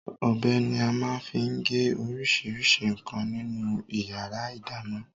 Ọbẹ̀ ni a máa ń fi gé oríṣiríṣi nǹkan nínú ìyàrá-ìdáná.